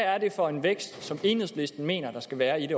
er det for en vækst som enhedslisten mener der skal være i